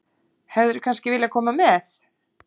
Hefðirðu kannski viljað koma með?